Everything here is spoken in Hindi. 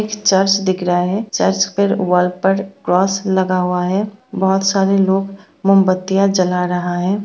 एक चर्च दिख रहा है चर्च पर वॉल पर क्रॉस लगा हुआ है बहुत सारे लोग मोमबत्तियां जला रहा है।